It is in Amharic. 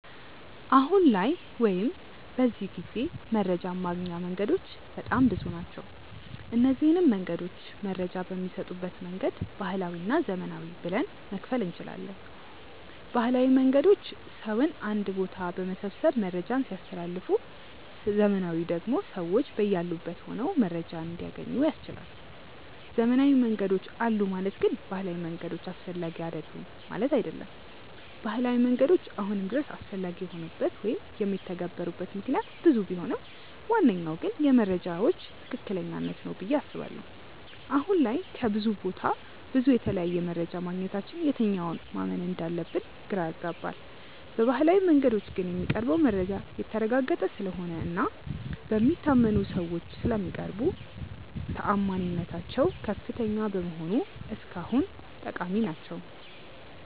አሁን ላይ ወይም በዚህ ጊዜ መረጃን ማግኛ መንገዶች በጣም ብዙ ናቸው። እነዚንም መንገዶች መረጃ በሚሰጡበት መንገድ ባህላዊ እና ዘመናዊ ብለን መክፈል እንችላለን። ባህላዊ መንገዶች ሰውን አንድ ቦታ በመሰብሰብ መረጃን ሲያስተላልፉ ዘመናዊው መንገድ ደግሞ ሰዎች በያሉበት ሆነው መረጃን እንዲያገኙ ያስችላል። ዘመናዊ መንገዶች አሉ ማለት ግን ባህላዊ መንገዶች አስፈላጊ አይደሉም ማለት አይደለም። ባህላዊ መንገዶች አሁንም ድረስ አስፈላጊ የሆኑበት ወይም የሚተገበሩበት ምክንያት ብዙ ቢሆንም ዋነኛው ግን የመረጃዎች ትክክለኛነት ነው ብዬ አስባለሁ። አሁን ላይ ከብዙ ቦታ ብዙ እና የተለያየ መረጃ ማግኘታችን የትኛውን ማመን እንዳለብን ግራ ያጋባል። በባህላዊው መንገዶች ግን የሚቀርበው መረጃ የተረጋገጠ ስለሆነ እና በሚታመኑ ሰዎች ስለሚቀርቡ ተአማኒነታቸው ከፍተኛ በመሆኑ እስካሁን ጠቃሚ ናቸው።